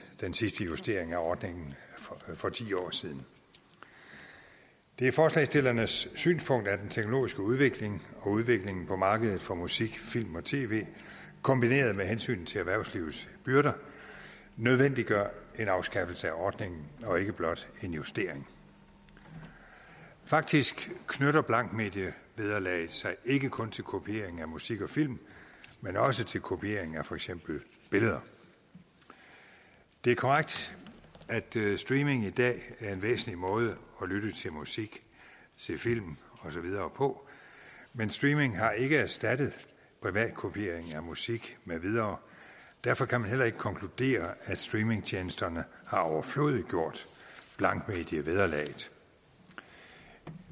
den sidste justering af ordningen for ti år siden det er forslagsstillernes synspunkt at den teknologiske udvikling og udviklingen på markedet for musik film og tv kombineret med hensyn til erhvervslivets byrder nødvendiggør en afskaffelse af ordningen og ikke blot en justering faktisk knytter blankmedievederlaget sig ikke kun til kopiering af musik og film men også til kopiering af for eksempel billeder det er korrekt at streaming i dag er en væsentlig måde at lytte til musik se film og så videre på men streaming har ikke erstattet privatkopiering af musik med videre derfor kan man heller ikke konkludere at streamingtjenesterne har overflødiggjort blankmedievederlaget